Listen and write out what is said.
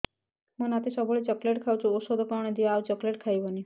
ମୋ ନାତି ସବୁବେଳେ ଚକଲେଟ ଖାଉଛି ଔଷଧ କଣ ଦିଅ ଆଉ ଚକଲେଟ ଖାଇବନି